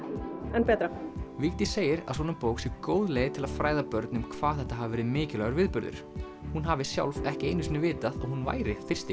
enn betra Vigdís segir að svona bók sé góð leið til að fræða börn um hvað þetta hafi verið mikilvægur viðburður hún hafi sjálf ekki einu sinni vitað að hún væri fyrsti